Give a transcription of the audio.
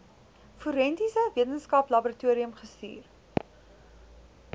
forensiese wetenskaplaboratorium gestuur